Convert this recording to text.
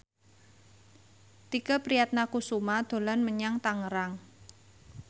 Tike Priatnakusuma dolan menyang Tangerang